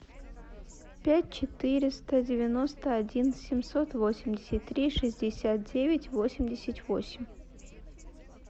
пять четыреста девяносто один семьсот восемьдесят три шестьдесят девять восемьдесят восемь